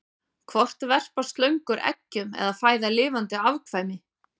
Hvort verpa slöngur eggjum eða fæða lifandi afkvæmi?